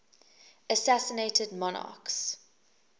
assassinated monarchs